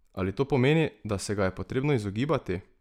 Ali to pomeni, da se ga je potrebno izogibati?